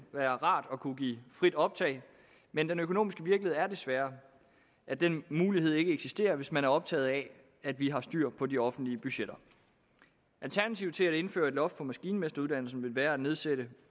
være rart at kunne give frit optag men den økonomiske virkelighed er desværre at den mulighed ikke eksisterer hvis man er optaget af at vi har styr på de offentlige budgetter alternativet til at indføre et loft på maskinmesteruddannelsen vil være at nedsætte